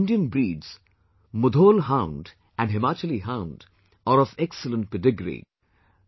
Among the Indian breeds, Mudhol Hound and Himachali Hound are of excellent pedigree